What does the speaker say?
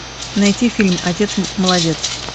найти фильм отец молодец